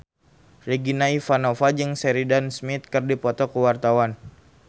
Regina Ivanova jeung Sheridan Smith keur dipoto ku wartawan